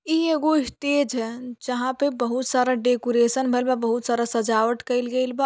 इ एगो स्टेज है। जहाँ पर बहुत सारा डेकोरेशन भइल बा बहुत सारा सजाबट कइल गइल बा।